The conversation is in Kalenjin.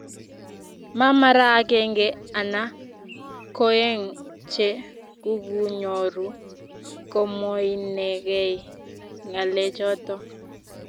Ma mara akenge ana koeng che kukunyoru komwoinekei ngalechoto.